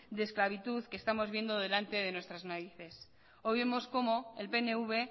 de esclavitud que estamos viendo delante de nuestras narices hoy vemos como el pnv